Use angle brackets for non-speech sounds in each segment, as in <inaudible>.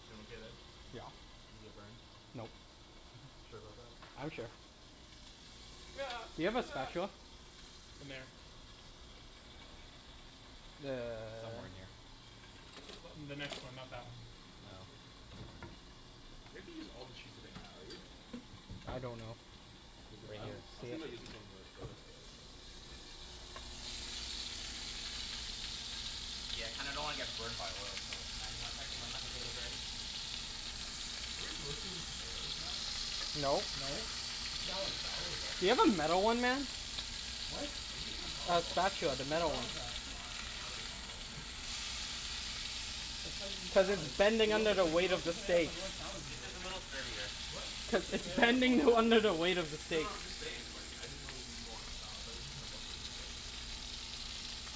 You doin' okay there? You get burned? Nope. Sure about that? I'm sure. Do you have a spatula? <noise> In there. Somewhere in <noise> here. <noise> In the next one, not that one. You're not gonna use all the cheese today Matt are you? I don't know. Because I'm I was thinking about using some of that for <inaudible> other stuff. Yeah, I kinda don't wanna get burned by oil so Matt do you wanna check when my potatoes are ready? Are we roasting tomatoes, Matt? No. No, Are it's we making a salad. salad of all Do you have a tomatoes? metal one man? What? Are we making a salad A of all spatula, tomatoes? the What's metal wrong one. with that? I'm I'm not a big fan of all tomatoes. That's how you eat Cuz it's salads. bending under Roasted the like weight of the roasted tomatoes steak. don't go in salads This regularly. is a little sturdier. What? Cuz Roasted it's tomatoes don't go in bending salads under the regularly. weight of the No steak. no I'm just saying like I didn't know it was gonna go on a salad. Thought we were just gonna roast the tomatoes.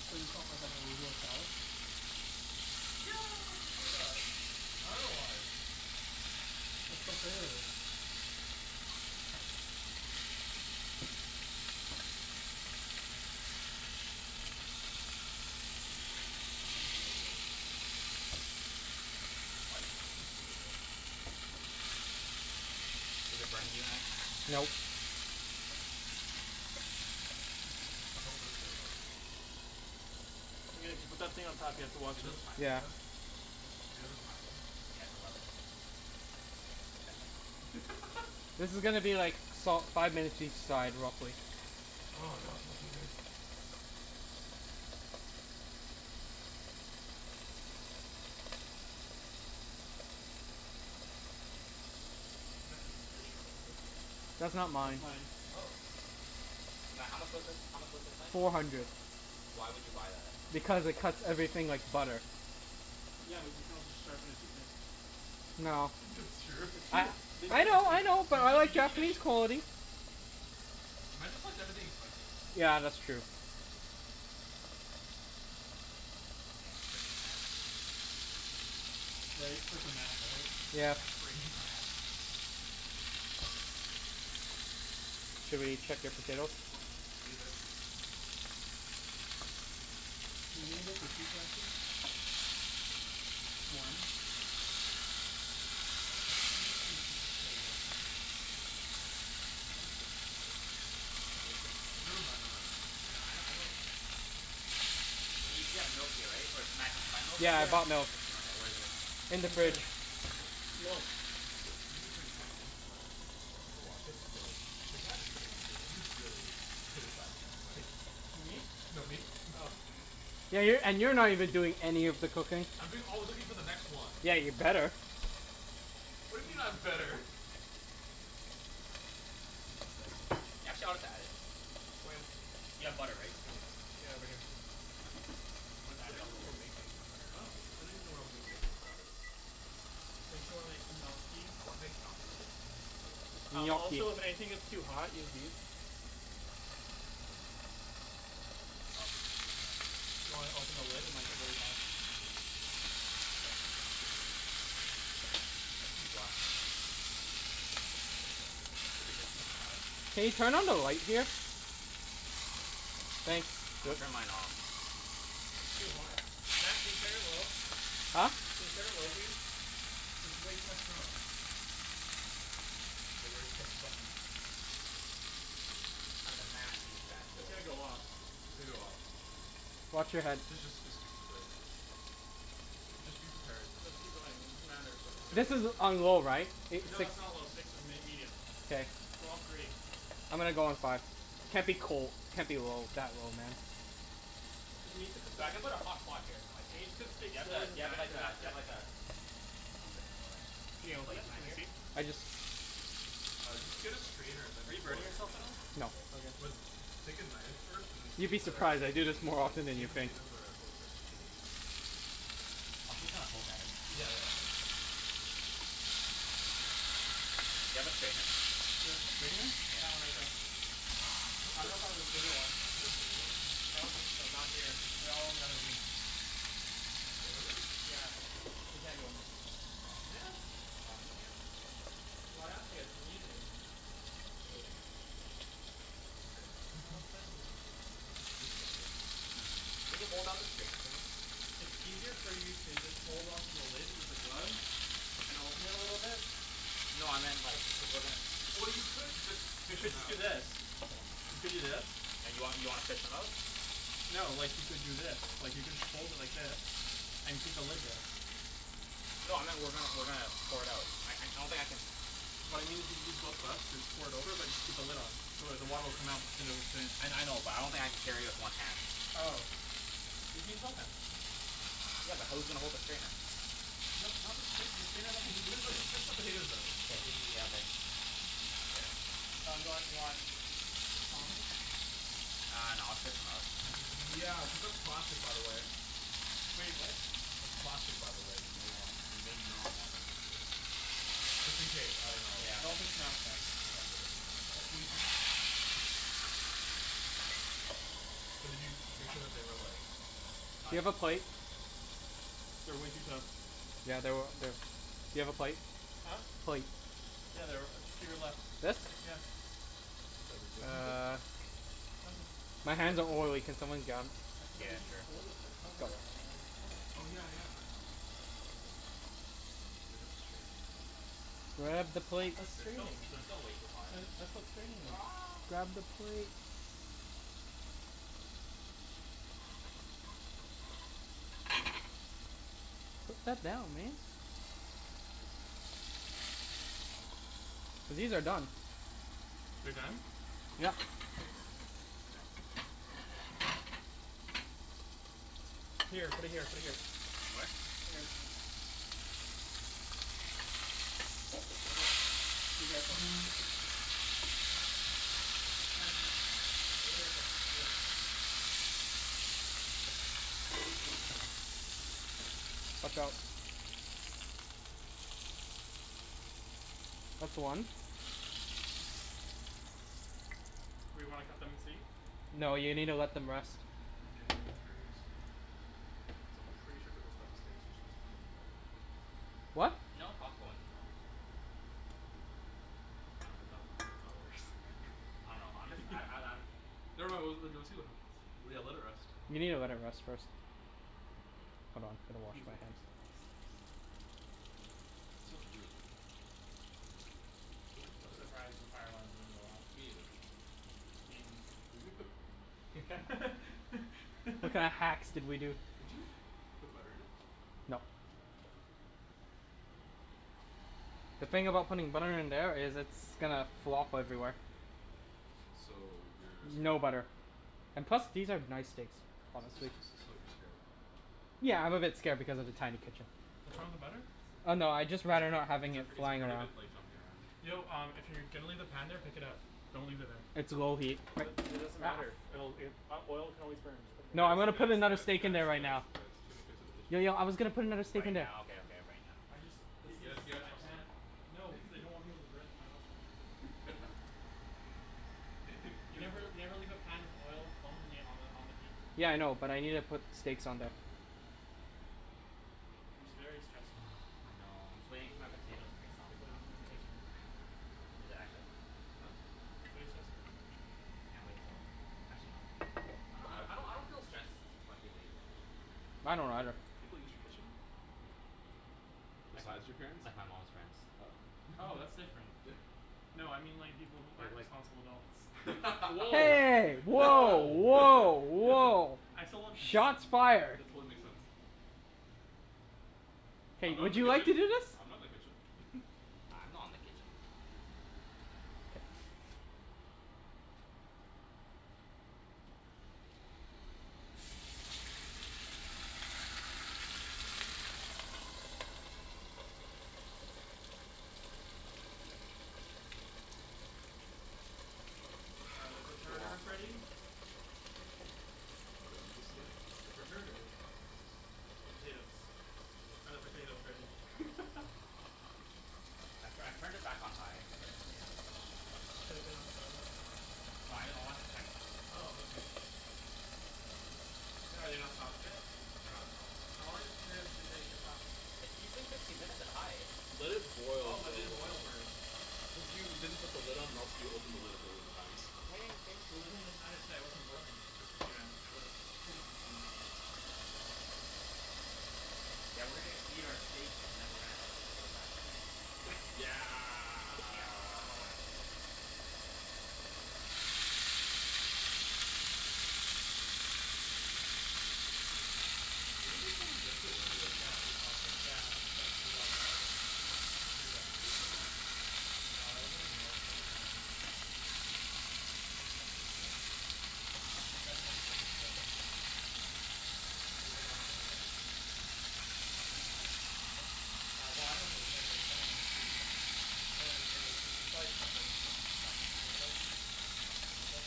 So you just want like an arugula salad? Yeah I'd prefer that. I dunno why. That's so flavorless. That smells really good. What? That smells really good. Is it burning you Matt? No. Don't lift it out then. Just just let it <inaudible> put that thing on top here to wash it. Yeah. <inaudible> Do you have a timing? Yeah, it's eleven minutes. Okay. I think. <laughs> This is gonna be like salt five minutes each side real quick. Oh god smells so good. Matt, is this the sharpener for it? That's not That's mine. mine. Oh. Matt, how much was this? How much was this knife? Four hundred. Why would you buy that? Because it cuts everything like butter. Yeah, but you can also just sharpen a cheap knife. No. <laughs> That's true. It's I true. We I know That's tested true. I it. know You but I just you like just need to Japanese sh- quality. Matt just likes everything expensive. Yeah, that's true. Yeah, freaking Matt. Right? Freaking Matt, right? Yeah. Yeah, Freaking Matt. freaking <laughs> Matt. Should we check your potatoes? Leave it. Can you? <inaudible> Sure. Just one. Also I'm pretty sure you're supposed to cut it up into small chunks. As long as you can mash it first. I mean you can Never like. mind, I never mind, know I know never mind. I know what you mean. Wait, you still have milk here right? Or did Matt did you buy milk? Yeah I bought milk. Okay, where is it? In In the the fridge. fridge. Milk. It's gonna be pretty funny when like people watch this and be like "The guy that's sitting at the table, he's really criticizing everybody." Who me? No, me. Oh. <laughs> Yeah, you're and you're not even doing any of the cooking. I'm doing all the cooking for the next one. Yeah, you'd better. What He's do you being mean I'm sincere. better? Y'all chill we got it. You have butter right? Yeah over here. Okay, I still don't put even know what we're making. that Huh? <inaudible> I still don't even know what I'm making on Saturday. Didn't you wanna make gnocchi? I wanna make gnocchi. Gnocchi. Gnocchi. Also if anything gets too hot, use these. Do you wanna open the lid? It might get really hot. I see black, Matt. Matt? Can you turn on the light here? Thanks. Turn mine off. It's too hot. Matt can you turn it low? Huh? Can you turn it low please? There's way too much smoke. Get ready to press the button. I'm gonna mash these bad It's gonna boys. go off. It's gonna go off. Watch your head. D- just just just wait. J- just be prepared. No just keep going. It doesn't matter but it's This is gonna. <inaudible> on low right? It No six? that's not low, six is m- medium. K. Go on three. I'm gonna go on five. Can't be cold. Can't be low that low man Cuz you need to cook the So s- I'm gonna put a hot pot here you need so to I cook can steak Do slower than you that have after the that do bit. you have like a do you have like a pi- lid Can you like open it? Matt Can we just see? used? I just Uh just get a strainer and Are then you pour burning it in. yourself at all? No Okay. But take a knife first and see You'd if be the surprised. see I if the do this thing is more like often than see you if the think. potatoes are fully cooked through. I'll just kinda poke at it. Yeah, yeah yeah yeah Do you have a strainer? Do I have strainer? That one right there. I dunno if I have a <inaudible> bigger one. Do you have a bigger one? I don't think so. Not here. They're all in the other room. The other room? Yeah, we can't go in there. Aw man. Aw man. Well I asked you guys if you need anything. Well. Okay. No one <laughs> said anything. No, just just wondering. Can you hold up the strainer for me? It's easier for you to just hold on to the lid with the gloves and open it a little bit. No I meant like cuz we're gonna s- Well you could just You fish should 'em just do out. this. You could do this. And you want you wanna fish 'em out? No, like you could do this. Like you could hold it like this, and keep the lid there. No I meant we're gonna we're gonna pour it out. I don't think I can What I mean is you use both gloves and pour it over but just keep the lid on. So it the water will come out but the potatoes will stay in. I I know but I don't think I can carry it with one hand. Oh. You can use both hands. Yeah, but who's gonna hold the strainer? No not the strainer, the strainer has nothing to Just do fi- with no just it. fish the potatoes out it it'll be Yeah easier. okay Um do you want do you want tongs? Uh no I'll just fish 'em out. Yeah, cuz that's plastic by the way. Wait, what? That's plastic by the way, you may want you may not wanna Just in case, I dunno. Yeah. Don't fish 'em out with that. Yeah, don't Okay. fish 'em out like that. That's <inaudible> way Use too tongs. But did you make sure that they were like Not Do you yet. have a plate? <noise> They're way too tough Yeah they were they do you have a plate? Huh? Plate. Yeah, they're to your left. This? Yeah. I'm sorry, wait, what did you say? Nothin' My hands About the are potatoes. oily, can someone get 'em? I said that Yeah, you can just hold it sure. with the cover on and pour it. Oh yeah yeah no I know I know but like We have to strain them somehow, and finish it. Grab the That's plate that's They're still straining. they're still way too hot. That's what straining is. Grab the plate. Put that down, man. These are done. They're done? Yep. Here, put it here put it here. What? Here. <inaudible> be careful. Chancey. Yeah? Careful. Yeah. Watch out. That's one. We wanna cut them and see? No you needa let them rest. I'm genuinely curious. Cuz I'm pretty sure for those types of steaks you're supposed to put 'em in the oven. What? No, Costco ones you don't. <inaudible> I dunno I'm just <laughs> I'm I'm I'm Never mind, we'll we'll see what happens. Yeah, let it rest. You needa let it rest first. Hold on, gotta wash Who's ready my for hands. some raw steaks? That smells really good though. Where's the I'm butter? surprised the fire alarm didn't go off. Me neither. You mean you too. Were you gonna put What kinda hacks <laughs> <laughs> did we do? Did you put butter in it? Nope. Okay. The thing about putting butter in there is it's gonna flop everywhere. So you're scared. No butter. And plus these are nice steaks so So <noise> so so you're scared. Yeah, I'm a bit scared because of the tiny <noise> kitchen. What's wrong with the butter? So Oh no, I'd just rather not having he's it afraid he's flying afraid of around. it like jumping around. Yo um if you're gonna leave the pan there pick it up. Don't leave it there. It's low heat. What? It doesn't matter. It'll it oil can always burn. Just put it No I'm Guys gonna here. guys put another guys steak in guys there right guys now. guys, too many cooks in the kitchen. Yo yo I was gonna put another steak Right in there. now, okay okay right now. I just let's K, guys, just you got I trust him. can't no cuz I don't <laughs> want people to burn my house down. <laughs> <laughs> You never you You've never leave a pan with oil only on the on the heat. Yeah I know, but I needa put steaks on there. I'm just very stressed right now <noise> I know, I'm just waiting for my potatoes to get soft People using the though. kitchen. <laughs> Is it actually? <noise> Huh? It's very stressful. Can't wait till actually no I don't I don't I don't feel stressed <inaudible> when people use my kitchen. I I don't do. either. People use your kitchen? Like, Besides your parents? like my mom's friends. Oh, Oh, that's different. <laughs> No I mean like people who aren't responsible adults. Hey! Woah woah <laughs> woah! I still don't <noise> Shots fired. That totally makes sense. I'm Hey, not in would the you like to kitchen. do this? I'm not in the kitchen. <laughs> I'm not in the kitchen. Are the <noise> It's a long perterters ready? time. What did you say? <laughs> The perterters The potatoes. Are the potatoes ready? <laughs> I'm tryin' I turned it back on high for the potatoes. It should've been on. Why wasn't it on? No I know I wanted to check. Oh okay. The- are they not soft yet? They're not soft. How long does a potato usually take to get soft? It's usually fifteen minutes at high. Let it Oh, boil for but it a didn't long boil time. first. Cuz you didn't put the lid on else you opened the lid a billion times. The lid thing doesn't matter it just wasn't boiling for fifteen minutes. It was in for fifteen minutes. Yeah, we're gonna eat our steak and then we're gonna have our potato after this. <laughs> Yeah Yeah Where were they filming Deadpool <inaudible> earlier, do you know? Yeah, it's like two blocks that way, Oh seriously? or three blocks. Are they still going? No, that was like in the morning. That was like nine AM. Oh Damn. My Wanted friend sent me to a picture of it. He was like on a moped. Ryan Reynolds? Uh well I dunno if it was him but it was someone in a suit. Someone in in the suit, so it's probably stunt person since it's on on motorbike. Mhm. A moped.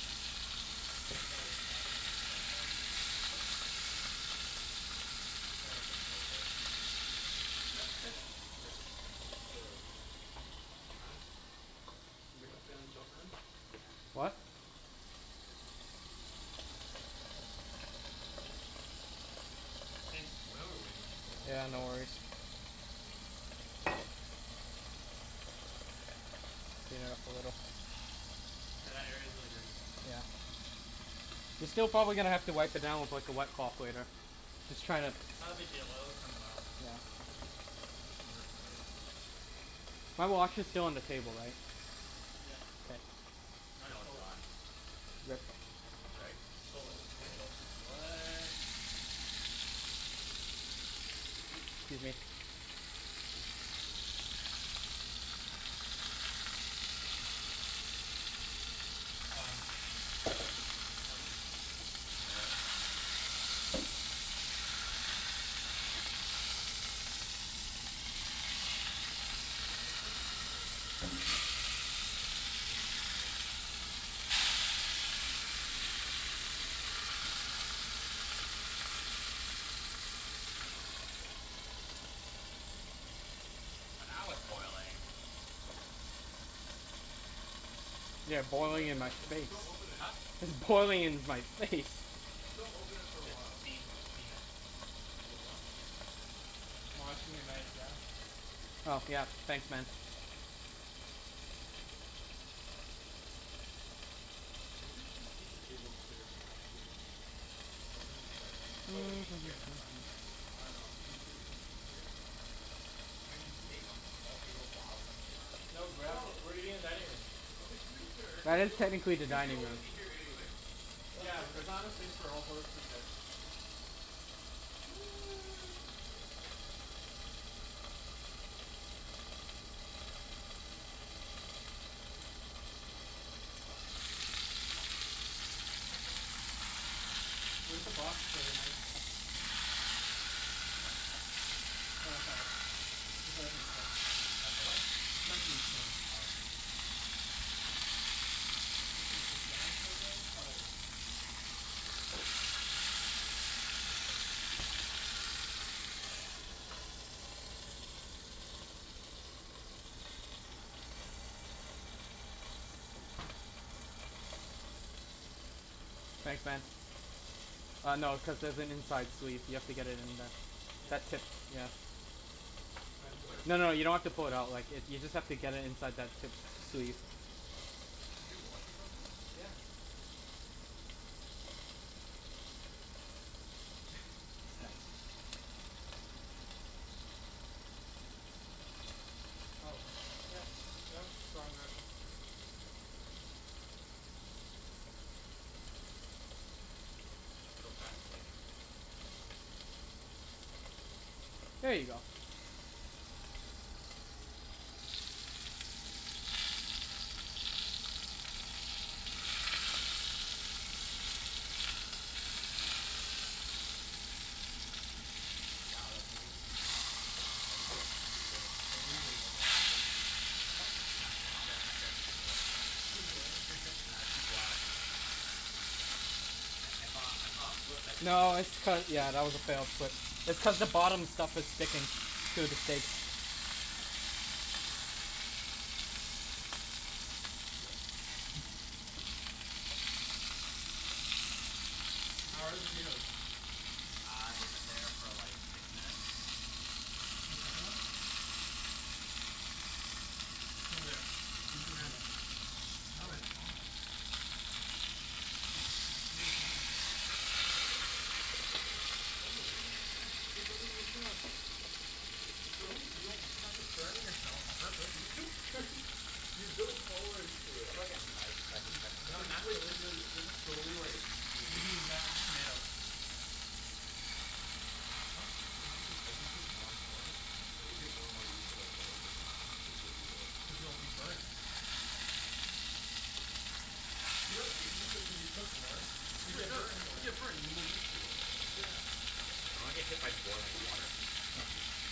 Probably a stunt stunt man. Stunt man stunt man stunt man. No Just it's jumped over it's <noise> <laughs> Nice tr- what the? You tryin' to Make a play on jump man? Yeah. What? Thanks. Why are we waiting for so long Yeah, for no this? worries. Yeah, a little. <noise> <noise> Yeah that area's really dirty. Yeah. <noise> You're still gonna probably have to wipe it down with like a wet cloth later. Just tryin' to It's not a big deal, oil it comes off. Yeah. Just have to put some work into it. My watch is still on the table, right? Yes. K. No, it's gone. Yep. Right? I stole it He sto- <inaudible> what? 'scuse me. Um Um, it's Nice. Let's set up the game while we're at it. Sure. <noise> Oh now it's boiling. Yeah, Leave it boiling like in my that j- face. just don't open it. Huh? It's boiling in my face. Just don't open it for a The while. steam steam it Whoa, what happened here? Washing your knife, yeah? Oh yeah, thanks man. Uh maybe we should just keep the table clear for now cuz we have to eat. Oh we're gonna eat there. I thought we're eating here and then playing <noise> here. I dunno I'm too used to Ibrahim eating here. We're gonna eat steak <laughs> on this small table while playing Catan? No, we're actually No we're eating in dining room. Okay just making sure, Well cuz it's you al- technically the cuz you dining room. always eat here anyways <laughs> What's Yeah, but there's different? not enough space for all four of us to eat there. <noise> Okay whatever. Where's the box for the knife? Over there? No that's not it, that's the sharpening stone. That's the what? Sharpening stone. Oh. Put this down for a bit. Oh there it is. Thanks, man. Uh no, cuz there's an inside sleeve, you have to get it in there. Yeah, it's That not tip, yeah. I There think was? it's No no, you don't have to fold it out. Like if you just have to get it inside that tip sleeve. Did you wash it properly? Yeah. <laughs> Oh yeah no it's wrong direction. So fascinating. There you go. Wow that's amazing. Amazing. Sugoi. <noise> It's Oh crap, amazing. oh wrong language. Huh? No I said I said I said sugoi. Sugoi? <laughs> Matt, I see black. I I thought I thought it flipped but it didn't No flip. it's cu- yeah that was a fail but it's cuz the bottom stuff is sticking to the steak. Yeah. <noise> Did we How are the let that finish? potatoes? Uh they've been there for like six minutes. Can you check 'em then? It's over there. Use Over your hand. there. No, it's Hand. hot. It's really hot. Don't look at me like that. You're driving with a chef. So? You don't practice burning yourself on purpose. L- you don't burn <laughs> you build tolerance to Do you it. have like a knife so I can check on N- It's not like this? you like <inaudible> naturally. you have to slowly like like You can use that, <inaudible> just tomato. Huh? As you cook 'em as you cook more and more like you'll get more and more used to like oil burns cuz you'll be like Cuz you'll be <inaudible> burned. You don't get used to it cuz you cook more. You No you get no burned more. you get burned you get more used to it. Yeah. I don't wanna get hit by boiling water.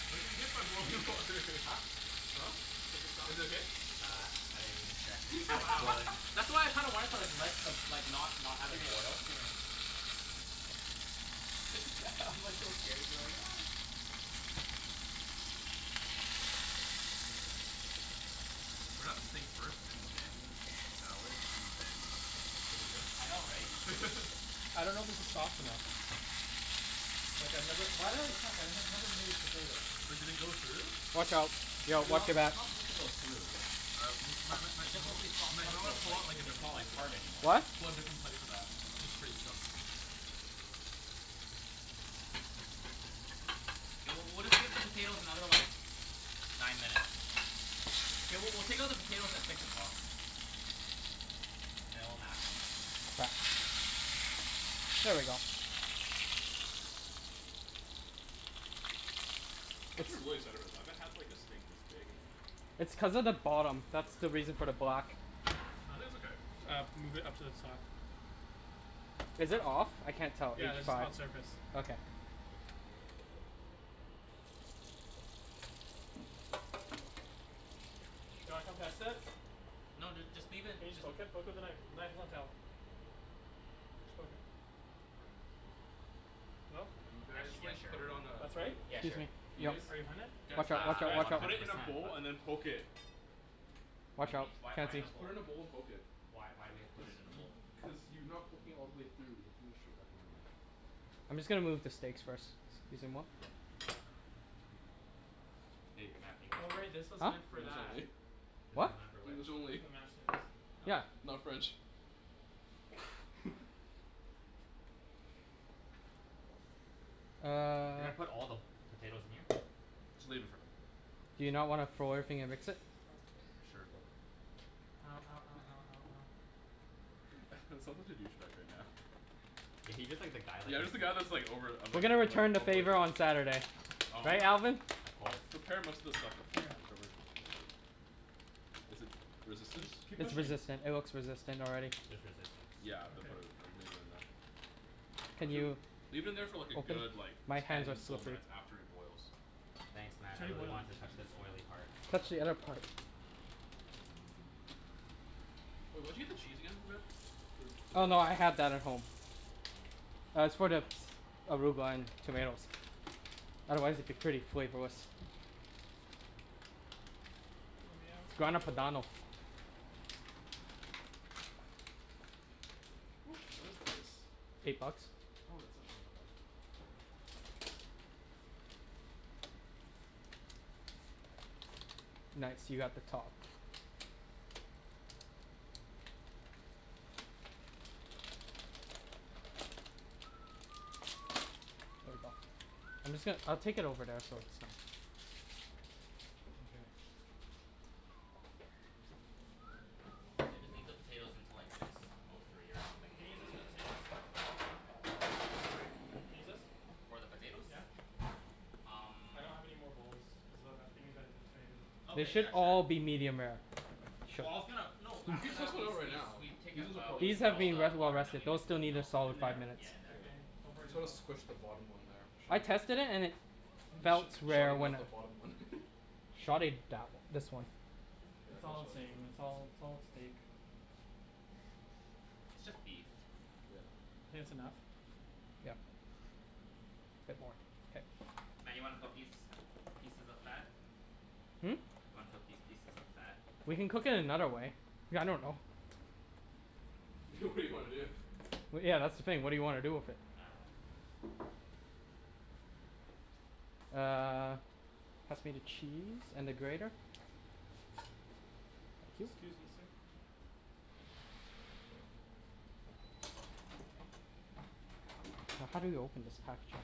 You're not gonna get hit by boiling water <laughs> Huh? Huh? Is it soft? Is it okay? Uh I didn't even check cuz it's like Wow. boiling. <laughs> That's why I kinda wanted to like let the like not not have it Gimme it, boil. gimme it. <laughs> It's g- I'm like so scared. I'm like <noise> We're gonna have the steak first and then salad and then I know, right? potatoes. <laughs> I dunno if this is soft enough. Like I've never- why did I check? I've never made potatoes. But did they go through? Watch out. Yo, watch It's- your it's back. not supposed to go through. Uh m- Matt- Matt- It's Matt- you just know supposed to be what? soft Matt you enough know so what? it's Pull like out like a it's different not like plate for hard that. anymore. What? Pull out a different plate for that. That one's pretty stuffed. We'll- we'll take out the potatoes another like nine minutes. Mkay, w- we'll take out the potatoes at six o'clock. And then we'll mash 'em. <noise> Here we go. I should really settle with that, I haven't had like a steak this big in like- It's cuz of the bottom. That's the reason Forever. for the black. No, I think it's okay. Uh, move it up to the top. Is it off? I can't tell. Yeah, It's this is five. hot surface. Okay. Do you wanna come test it? No dude, just leave it. Can you just poke it? Poke with a knife. The knife is on the shelf Just poke it. No? Actually yeah, sure. put it on a- That's right? Yeah, sure. Are you are you hunnid? Guys, Watch Uh, out, guys, watch, out I'm guys. watch not out. one Put hundred it in a percent bowl and then poke it. What do you mean? Why- why in this Just bowl? put it in a bowl and poke it. Why- why we have to put it in a bowl? Cuz you are not poking all the way through. I'm just gonna move the steaks first. excusez-moi. Hey Matt, English Oh only. right, this was Huh? meant for English that. only. This What? is not for which? English only. For the mashed potatoes. Yeah. Oh. Not French. Uh. You're gonna put all the potatoes in here? Just leave it Do you not wanna throw everything and mix it? Sure go Ow, ow, ow, ow, ow, ow. <laughs> I sound like a douche bag right now. Yeah. He's just the guy, like Yeah. I'm he's just the guy all- that's like over- I'm We're like- gonna I'm return like the overlooking. favor on Saturday. Right, Oh, Alvin? of course. prepare most of the stuff beforehand, don't worry too much about it. Is it resistance? Keep It's pushing. resistant. It looks resistant already. There's resistance. Yeah, I'm gonna Okay. put it, then leave it in there. Can you Leave it in there for like a open? good, like, My hands are ten full slippery. minutes after it boils. Thanks It's Matt, I already really boiling. want to touch this oily part. Touch the other part. Wait, where did you get the cheese again Matt? For the Oh potatoes? no, I had that at home. Uh, it's for the arugula and tomatoes. Otherwise it'd be pretty flavorless. Lemme out, Grana lemme Padano. out. How much is this? Eight bucks. Oh, that's actually not that bad. Nice, you got the top. <noise> Here you go. I'm just gon- I'll take it over there so it's not- Mkay. Yeah. Just leave the <noise> potatoes until like six or nine minutes Can I use this for the potatoes? <noise> Can I use this? For the potatoes? Yeah. Um. I don't have any more bowls, cuz that- that's being used by the tomatoes. They Okay, should yeah sure. all be medium rare. Well I was gonna... No, You after could that do we- it right we- now. we take out- we These take out have all been in the the water water. and then we Those mix it still with need a milk. Yeah In solid five there? minutes. in there. Okay, don't You burn need to yourself. squish the bottom one there. I tested it and it felt <laughs> rare Sorry when about I- the bottom one. <laughs> Shove it down. This one. It's all the same. Yeah <inaudible> It's all- it's all steak. It's just beef. Yeah. Think that's enough? Yeah. Yep. It's Okay. Matt, you wanna cook these pieces of fat? Hmm? Want to cook these pieces of fat? We can cook it another way. I dunno. <laughs> It's okay. good idea. Well yeah that's the thing. What do you wanna do with it? Uh. Pass me the cheese and the grater. Just, scusi, sir How do you open this package?